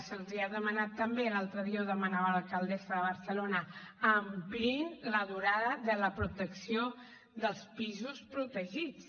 se’ls ha demanat també l’altre dia ho demanava l’alcaldessa de barcelona ampliïn la durada de la protecció dels pisos protegits